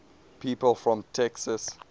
people from texas